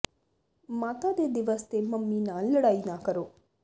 ਮਾਤਾ ਦੇ ਦਿਵਸ ਤੇ ਮੰਮੀ ਨਾਲ ਲੜਾਈ ਨਾ ਕਰੋ